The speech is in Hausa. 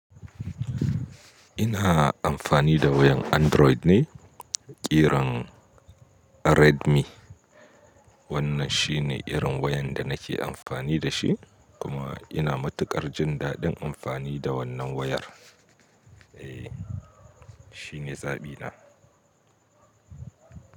Ina amfani da wayan Android ne, ƙiran Redmi. Wannan shi ne irin wayan da nake amfani da shi kuma ina matuƙar jin daɗin amfani da wannan wayar. Eh, shine zaɓina.